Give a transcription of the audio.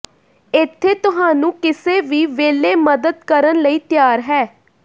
ਇੱਥੇ ਤੁਹਾਨੂੰ ਕਿਸੇ ਵੀ ਵੇਲੇ ਮਦਦ ਕਰਨ ਲਈ ਤਿਆਰ ਹੈ